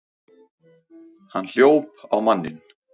Hann hljóp á manninn!